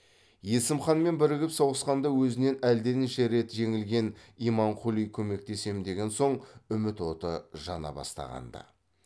есім ханмен бірігіп соғысқанда өзінен әлденеше рет жеңілген имамқұли көмектесем деген соң үміт оты жана бастағанды